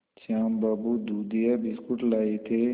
श्याम बाबू दूधिया बिस्कुट लाए थे